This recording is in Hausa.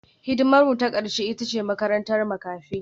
Hidimarmu ta ƙarshe ita ce makarantar makafi